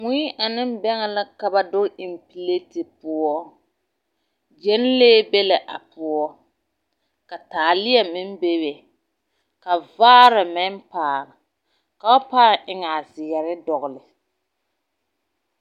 Mui ane bɛŋɛ la ka ba doge eŋ pileti poɔ. Gyenlee be la a poɔ, ka taalea meŋ bebe ka vaare meŋ pale, ka ba pãã eŋ a zeɛre dɔgele.